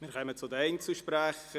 Wir kommen zu den Einzelsprechern.